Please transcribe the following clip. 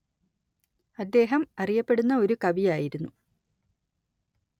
അദ്ദേഹം അറിയപ്പെടുന്ന ഒരു കവി ആയിരുന്നു